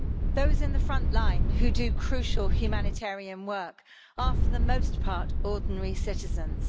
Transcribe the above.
Those in the front line who do crucial humanitarian work are for the most part ordinary citizens.